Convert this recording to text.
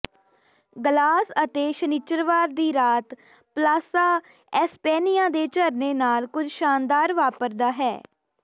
glass ਅਤੇ ਸ਼ਨਿੱਚਰਵਾਰ ਦੀ ਰਾਤ ਪਲਾਸਾ ਏਸਪੈਨਿਆ ਦੇ ਝਰਨੇ ਨਾਲ ਕੁਝ ਸ਼ਾਨਦਾਰ ਵਾਪਰਦਾ ਹੈ